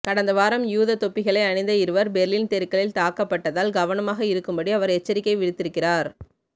கடந்த வாரம் யூத தொப்பிகளை அணிந்த இருவர் பெர்லின் தெருக்களில் தாக்கப்பட்டதால் கவனமாக இருக்கும்படி அவர் எச்சரிக்கை விடுத்திருந்தார்